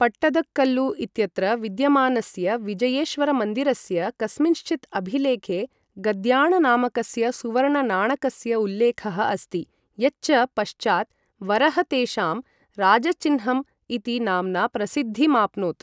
पट्टदकल्लु इत्यत्र विद्यमानस्य विजयेश्वरमन्दिरस्य कस्मिँश्चित् अभिलेखे गद्याण नामकस्य सुवर्णनाणकस्य उल्लेखः अस्ति, यच्च पश्चात् वरह तेषां राजचिह्नम् इति नाम्ना प्रसिद्धिमाप्नोत्।